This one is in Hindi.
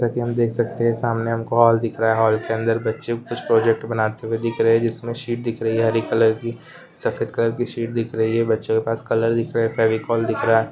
जैसा कि हम देख सकते हैं सामने हमको एक हॉल दिख रहा है हॉल के अंदर बच्चे कुछ प्रोजेक्ट बनाते हुए दिख रहे हैं जिसमें शीट दिख रही है हरी कलर की सफेद कलर की शीट दिख रही है बच्चों के पास कलर दिख रहे हैं फेविकोल दिख रहा है।